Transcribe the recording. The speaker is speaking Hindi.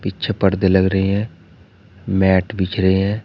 छह पर्दे लग रहे है मैट बिछ रहे है।